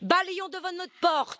Balayons devant notre porte!